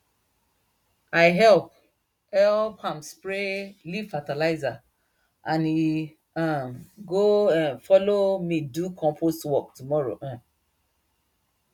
i help help am spray leaf fertilizer and he um go um follow me do compost work tomorrow um